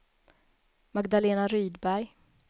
Magdalena Rydberg